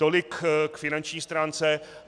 Tolik k finanční stránce.